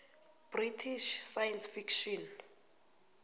british science fiction